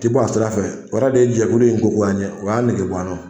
Ti bɔ a sira fɛ o yɛrɛ de ye jɛkulu in ko goy'an ye, o y'a eɛge bɔ an na